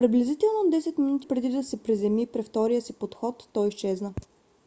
приблизително 10 минути преди да се приземи при втория си подход той изчезна